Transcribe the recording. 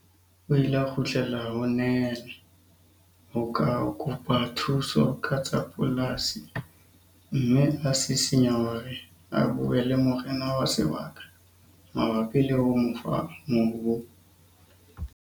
O ile a kgutlela ho Nel ho kopa thuso ka tsa polasi mme a sisinya hore a bue le morena wa sebaka mabapi le ho mo fa mobu.